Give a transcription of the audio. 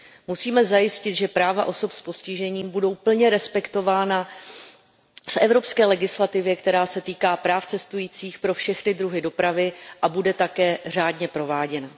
Musíme zajistit, že práva osob s postižením budou plně respektována v evropské legislativě, která se týká práv cestujících pro všechny druhy dopravy, a že také bude řádně prováděna.